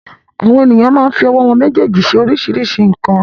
Àwọn ènìyàn máa ń fi ọwọ́ wọn méjèèjì ṣe oríṣiríṣi nǹkan.